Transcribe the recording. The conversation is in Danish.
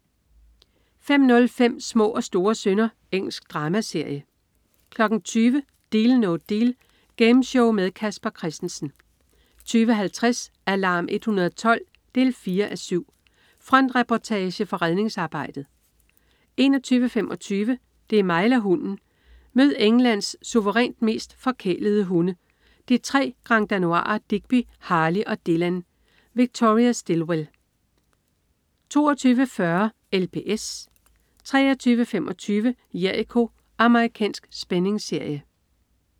05.05 Små og store synder. Engelsk dramaserie 20.00 Deal No Deal. Gameshow med Casper Christensen 20.50 Alarm 112 4:7. Frontreportage fra redningsarbejdet 21.25 Det er mig eller hunden! Mød Englands suverænt mest forkælede hunde, de tre granddanoiser Digby, Harley og Dylan. Victoria Stilwell 22.40 LPS 23.25 Jericho. Amerikansk spændingsserie